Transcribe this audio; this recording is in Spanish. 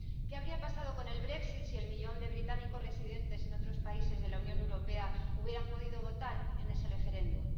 ¿Qué habría pasado con el Brexit si el millón de británicos residentes en otros países de la Unión Europea hubieran podido votar en ese referéndum?